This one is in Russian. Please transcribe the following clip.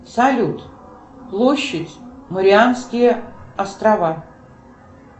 салют площадь марианские острова